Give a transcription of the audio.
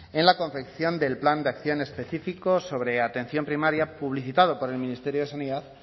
en la confección del plan de acción específico sobre atención primaria publicitado por el ministerio de sanidad